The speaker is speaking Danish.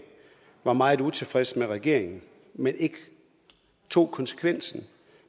var meget utilfredse med regeringen men ikke tog konsekvensen